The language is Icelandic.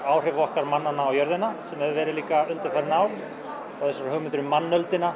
áhrif okkar mannanna á jörðina sem hefur verið líka undanfarin ár og þessar hugmyndir um